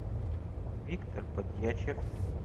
виктор подъячев